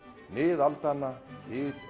nið aldanna þyt